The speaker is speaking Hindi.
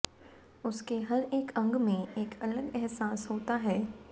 उसके हर एक अंग में एक अलग एहसास होता है